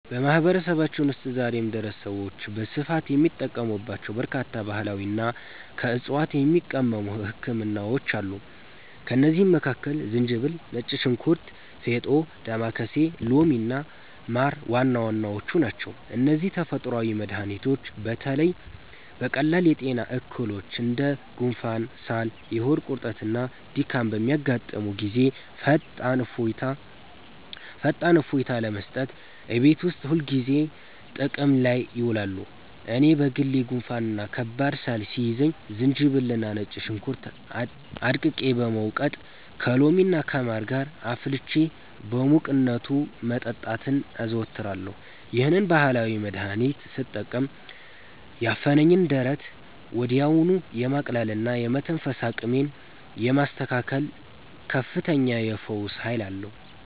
በማህበረሰባችን ውስጥ ዛሬም ድረስ ሰዎች በስፋት የሚጠቀሙባቸው በርካታ ባህላዊና ከዕፅዋት የሚቀመሙ ህክምናዎች አሉ። ከእነዚህም መካከል ዝንጅብል፣ ነጭ ሽንኩርት፣ ፌጦ፣ ዳማከሴ፣ ሎሚና ማር ዋና ዋናዎቹ ናቸው። እነዚህ ተፈጥሯዊ መድኃኒቶች በተለይ በቀላል የጤና እክሎች እንደ ጉንፋን፣ ሳል፣ የሆድ ቁርጠትና ድካም በሚያጋጥሙን ጊዜ ፈጣን እፎይታ ለመስጠት እቤት ውስጥ ሁልጊዜ ጥቅም ላይ ይውላሉ። እኔ በግሌ ጉንፋንና ከባድ ሳል ሲይዘኝ ዝንጅብልና ነጭ ሽንኩርት አድቅቄ በመውቀጥ፣ ከሎሚና ከማር ጋር አፍልቼ በሙቅነቱ መጠጣትን አዘወትራለሁ። ይህንን ባህላዊ መድኃኒት ስጠቀም ያፈነኝን ደረት ወዲያውኑ የማቅለልና የመተንፈስ አቅሜን የማስተካከል ከፍተኛ የፈውስ ኃይል አለው።